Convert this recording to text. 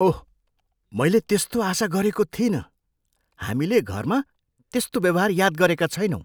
ओह, मैले त्यस्तो आशा गरेको थिइनँ। हामीले घरमा त्यस्तो व्यवहार याद गरेका छैनौँ।